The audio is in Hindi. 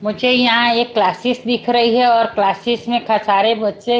मुझे यहां एक क्लासिस दिख रही है और क्लासिस में ख सारे बच्चे--